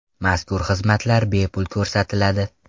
Mazkur xizmatlar bepul ko‘rsatiladi.